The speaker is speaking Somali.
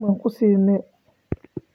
Ma ku siinay?